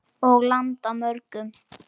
Og landa mörgum.